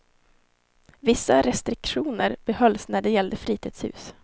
Vissa restriktioner behölls när det gällde fritidshus.